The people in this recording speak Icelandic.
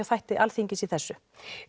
þætti Alþingis í þessu